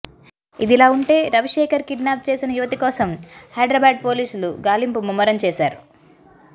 ఇదిలా ఉంటే రవిశేఖర్ కిడ్నాప్ చేసిన యువతి కోసం హైదరాబాద్ పోలీసులు గాలింపు ముమ్మరం చేశారు